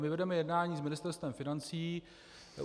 My vedeme jednání s Ministerstvem financí.